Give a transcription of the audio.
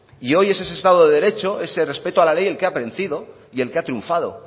y hoy es ese estado de derecho ese respeto a la ley el que ha vencido y el que ha triunfado